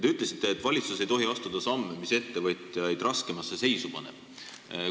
Te ütlesite, et valitsus ei tohi astuda samme, mis ettevõtjaid raskemasse seisu panevad.